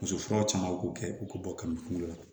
Muso furaw caman k'u kɛ u k'u bɔ ka mi kunkolo la